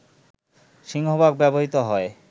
সিংহভাগ ব্যবহৃত হয়